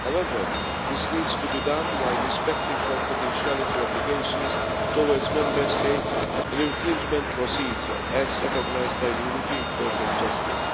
However, this needs to be done while respecting confidentiality obligations towards Member States in infringement procedures, as recognised by the European Court of Justice.